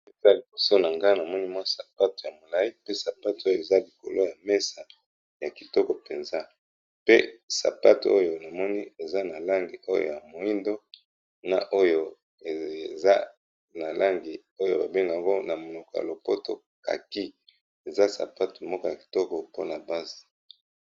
Awa liboso na ngai namoni mwa sapato ya molai pe sapate oyo eza likolo ya mesa, ya kitoko mpenza pe sapate oyo namoni eza na langi oyo ya moindo na oyo eza na langi oyo ba bengaka na monoko ya lopoto kaki eza sapato moko ya kitoko mpona basi.